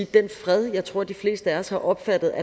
den fred jeg tror de fleste af os har opfattet